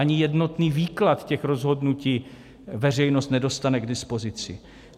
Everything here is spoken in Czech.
Ani jednotný výklad těch rozhodnutí veřejnost nedostane k dispozici.